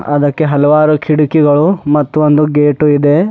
ಅದಕ್ಕೆ ಹಲವಾರು ಕಿಡಕಿಗಳು ಮತ್ತು ಒಂದು ಗೇಟೂ ಇದೆ.